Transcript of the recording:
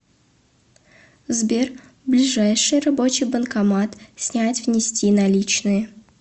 сбер ближайший рабочий банкомат снять внести наличные